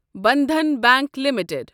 Bandhan bank limited